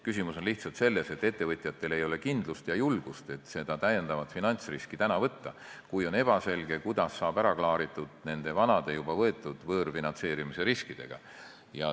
Küsimus on lihtsalt selles, et ettevõtjatel ei ole kindlust ja julgust, et seda täiendavat finantsriski võtta, kui on ebaselge, kuidas saavad ära klaaritud need vanad, juba võetud võõrfinantseerimisriskid.